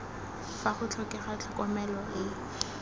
fa go tlhokega tlhokomelo e